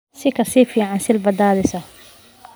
Si ka fiican Silva da'diisa.